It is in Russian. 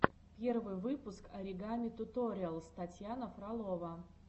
первый выпуск оригами туториалс татьяна фролова